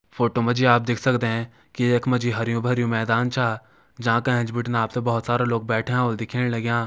फोटो मा जी आप देख सकदे की यख मा जी हरयूं भरयुं मैदान छा जांका एंच बिटिन आप त बहोत सारा लोग बैठ्यां होला दिखेण लग्यां।